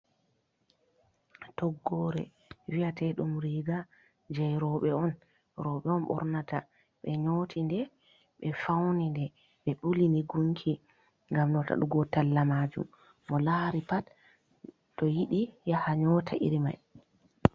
Toggore vi’ateɗum riga je roɓe on, roɓe on ɓornata be nyoti nde ɓe fauni nde be ɓuli ni gunki, ngam notadugo talla majum mo lari pat to yiɗi yaha nyota iri mai.